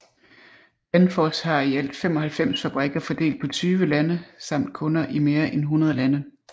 Danfoss har i alt 95 fabrikker fordelt på 20 lande samt kunder i mere end 100 lande